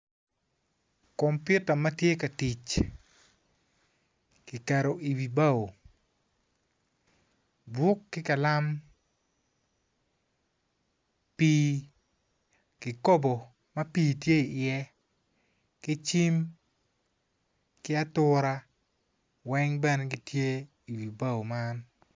Kompiota ma tye ka tic kiketo iwi bao buk ki kalam pii kikopo ma pii tye iye ki cim ki atura weng bene gitye iwi bao man.